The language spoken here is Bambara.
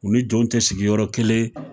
U ni jɔnw tɛ sigiyɔrɔ kelen.